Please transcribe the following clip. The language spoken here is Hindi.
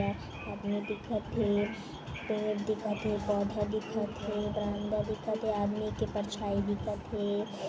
य आदमी दिखत हे पेड़ दिखत हे पौधा दिखत हे बंदर दिखत हे आदमी के परछाई दिखत हे।